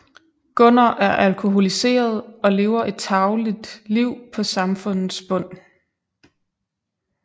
Gunnar er alkoholiseret og lever et tarveligt liv på samfundets bund